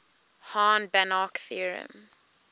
hahn banach theorem